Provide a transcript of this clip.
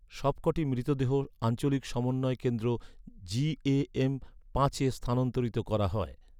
সবকটি মৃতদেহ আঞ্চলিক সমন্বয় কেন্দ্র জিএএম পাঁচে স্থানান্তরিত করা হয়।